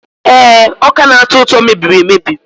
Ee, ọka na-atọ ụtọ mebiri emebi.